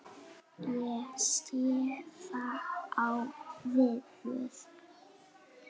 Ég sé það á yður.